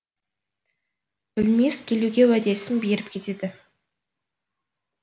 білмес келуге уәдесін беріп кетеді